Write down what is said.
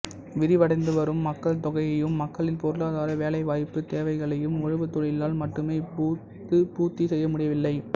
விரிவடைந்துவரும் மக்கள் தொகையையும் மக்களின் பொருளாதார வேலைவாய்ப்புத் தேவைகளையும் உழவுத்தொழிலால் மட்டுமே இப்பொழுது பூர்த்தி செய்யமுடியவில்லை